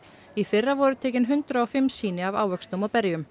í fyrra voru tekin hundrað og fimm sýni af ávöxtum og berjum